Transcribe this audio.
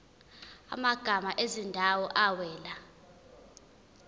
amagama ezindawo awela